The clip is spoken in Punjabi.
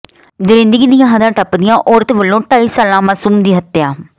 ਦਰਿੰਦਗੀ ਦੀਆਂ ਹੱਦਾਂ ਟੱਪਦਿਆਂ ਔਰਤ ਵੱਲੋਂ ਢਾਈ ਸਾਲਾ ਮਾਸੂਮ ਦੀ ਹੱਤਿਆ